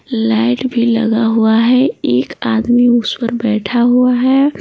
Light भी लगा हुआ है एक आदमी उस पर बैठा हुआ है।